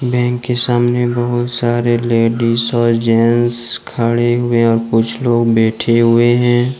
Bank के सामने बहुत सारे लेडिस और जेंट्स खड़े हुए और कुछ लोग बैठे हुए हैं।